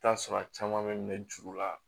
I bi t'a sɔrɔ a caman be minɛ juru la